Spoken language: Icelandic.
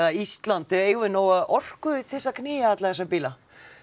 Ísland eigum við nóga orku til að knýja alla þessa bíla